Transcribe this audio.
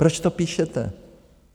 Proč to píšete?